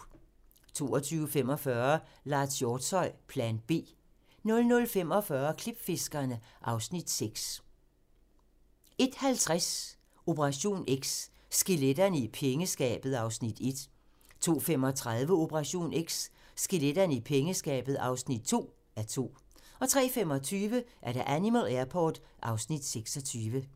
22:45: Lars Hjortshøj - Plan B 00:45: Klipfiskerne (Afs. 6) 01:50: Operation X: Skeletterne i pengeskabet (1:2) 02:35: Operation X: Skeletterne i pengeskabet (2:2) 03:25: Animal Airport (Afs. 26)